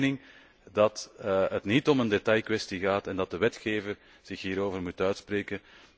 Wij zijn van mening dat het niet om een detailkwestie gaat en dat de wetgever zich hierover moet uitspreken.